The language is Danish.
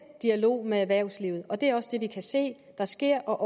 dialog med erhvervslivet og det er også det vi kan se at der sker